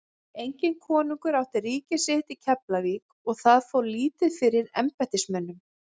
Enginn kóngur átti ríki sitt í Keflavík og það fór lítið fyrir embættismönnum.